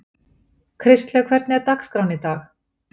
Kristlaug, hvernig er dagskráin í dag?